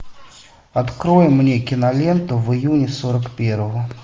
открой мне киноленту в июне сорок первого